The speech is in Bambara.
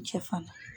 Cɛ fana